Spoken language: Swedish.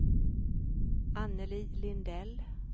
Annelie Lindell